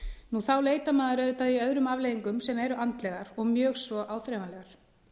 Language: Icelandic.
nú þá leitar maður auðvitað í öðrum afleiðingum sem eru andlegar og mjög svo áþreifanlegar